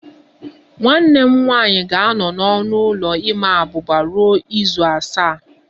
Nwanne m nwanyị ga-anọ n'ọnụ ụlọ ịma abuba ruo izu asaa